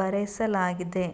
ಬರೆಸಲಾಗಿದೆ.